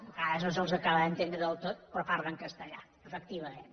vegades no se’ls acaba d’entendre del tot però parlen castellà efectivament